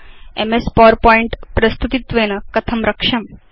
MS PowerPoint प्रस्तुतित्वेन कथं रक्ष्यम्